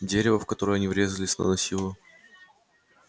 дерево в которое они врезались наносило